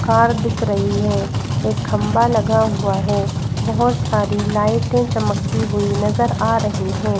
Car दिख रही है एक खंबा लगा हुआ है बहुत सारी लाइटें चमकती हुई नजर आ रही हैं।